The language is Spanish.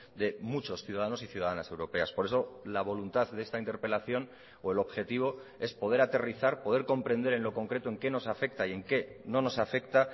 de muchos ciudadanos y ciudadanas europeas por eso la voluntad de esta interpelación o el objetivo es poder aterrizar poder comprender en lo concreto en qué nos afecta y en qué no nos afecta